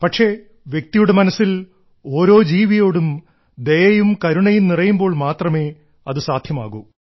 പക്ഷേ വ്യക്തിയുടെ മനസ്സിൽ ഓരോ ജീവിയോടും ദയയും കരുണയും നിറയുമ്പോൾ മാത്രമേ അത് സാധ്യമാകൂ